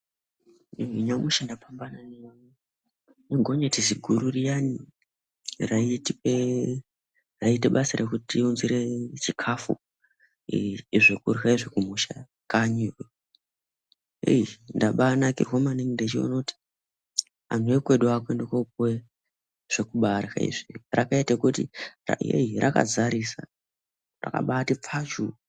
Nyamushi ndapambana negonyeti ziguru riyani raitipe raite basa rekutiunzire chikafu, zvekurya izvi kumusha, kanyiyo eei ndabanakirwa maningi ndichionekuti anhu ekweduyo akuyende kopuwe zvokuba arya izvi rakaite kuti rakazarisa, rakati pfachu.